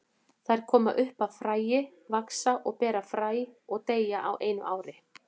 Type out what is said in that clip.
Þær koma upp af fræi, vaxa og bera fræ og deyja á einu ári.